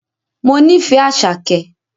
Mo nífẹ̀ẹ́ Àṣàkẹ́